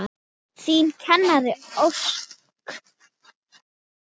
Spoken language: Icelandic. Þín Karen Ósk.